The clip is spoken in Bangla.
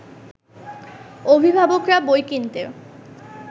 অভিভাবকরা বই কিনতে